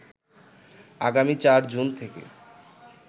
আগামী ৪ জুন থেকে